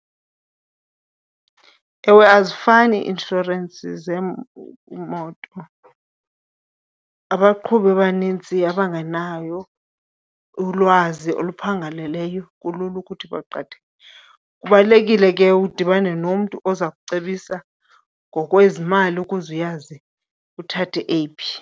Ewe, azifani ii-inshorensi zemoto. Abaqhubi abanintsi abangenayo ulwazi oluphangaleleyo kulula ukuthi baqhatheke. Kubalulekile ke udibane nomntu oza kucebisa ngokwezimali ukuze uyazi uthathe eyiphi.